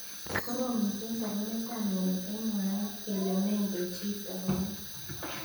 Korom missing sarunet ab mnyeni eng. mwaet kele mengen chi taunet.